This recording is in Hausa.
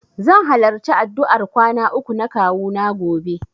Zan halarci addu'ar kwana uku na kawuna gobe.